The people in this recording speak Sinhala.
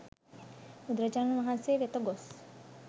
බුදුරජාණන් වහන්සේ වෙත ගොස්